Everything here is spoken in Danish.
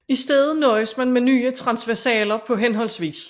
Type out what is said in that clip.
I stedet nøjedes man med nye transversaler på hhv